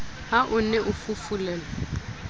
ha o ne o fufulelwa